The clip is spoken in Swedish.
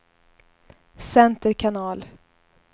center kanal